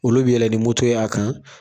Olu bɛ yɛlɛn ni moto y'a kan